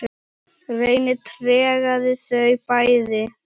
Reynir tregaði þau bæði.